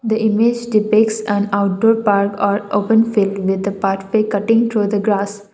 the image defects and outdoor park or open fill in the pathway cutting through the grass.